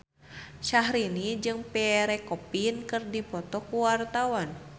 Syahrini jeung Pierre Coffin keur dipoto ku wartawan